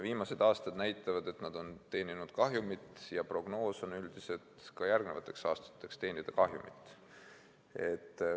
Viimased aastad näitavad, et nad on teeninud kahjumit, ja prognoos ka järgmisteks aastateks on, et teenitakse kahjumit.